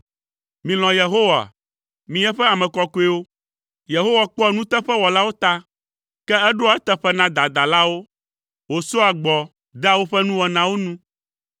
Milɔ̃ Yehowa, mi eƒe ame kɔkɔewo! Yehowa kpɔa nuteƒewɔlawo ta, ke eɖoa eteƒe na dadalawo wòsɔa gbɔ dea woƒe nuwɔnawo nu.